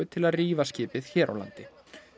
til að rífa skipið hér á landi